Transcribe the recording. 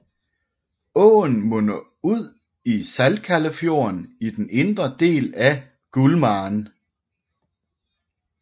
Åen munder ud i Saltkällefjorden i den indre del af Gullmarn